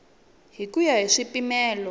hi ku ya hi swipimelo